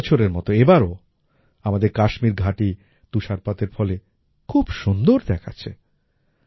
প্রতি বছরের মত এবারও আমাদের কাশ্মীর ঘাটি তুষারপাতের ফলে খুব সুন্দর দেখাচ্ছে